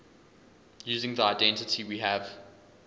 using the identity we have